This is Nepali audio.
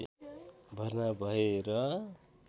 भर्ना भए र